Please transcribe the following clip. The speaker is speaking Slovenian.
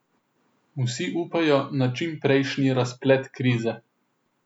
Vsi upajo na čimprejšnji razplet krize.